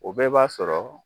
O bɛɛ b'a sɔrɔ